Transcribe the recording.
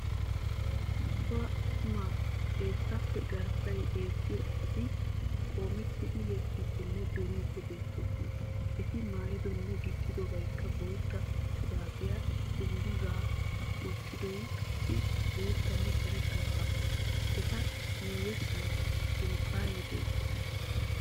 Cora attuma xeessappe garssay beettiyo asati qoomettidi yexxiiddinne duriiddi beettoosona. Eti maayidonne gixxidobaykka bootta shuraabiya, dungguzaa, wottidoy qassi boottanne karetta caammaa. Eta miyessan dunkkaane beettees.